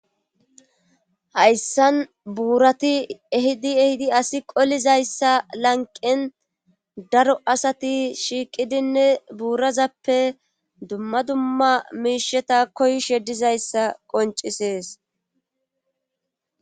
Hayssan buurati ehidi ehidi asi qolizayssa lanqen daro asati shiiqidinne buurazappe dumma dumma miisheta koysh yeddizayssa qoncisees.